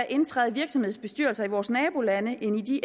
indtræde i virksomhedsbestyrelser i vores nabolande end i de